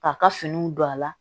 K'a ka finiw don a la